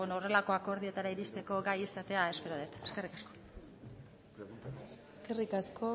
horrelako akordioetara iristeko gai izatea espero det eskerrik asko eskerrik asko